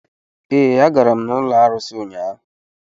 Ee, agara m n'ụlọ arụsị ụnyaahụ.